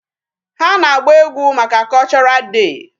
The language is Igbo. Ha na-agba egwu maka cultural day.